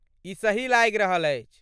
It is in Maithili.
ई सही लागि रहल अछि।